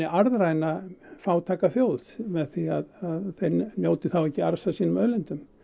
arðræna fátæka þjóð með því að þeir njóti þá ekki arðs af sínum auðlindum